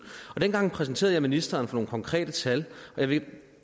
og dengang præsenterede jeg ministeren for nogle konkrete tal og jeg vil